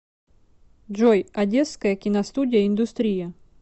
джой одесская киностудия индустрия